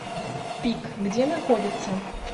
пик где находится